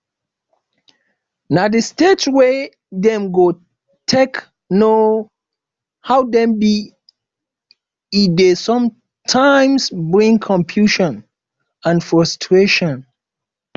na the stage wey dem go take know who dem be e de sometimes bring confusion and frustration